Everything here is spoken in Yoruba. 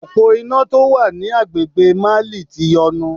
Òpó iná tó wà ní agbègbè Mali ti yọnu.